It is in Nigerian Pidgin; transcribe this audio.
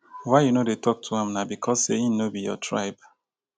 why you no dey tok to am? na because sey im no be your tribe?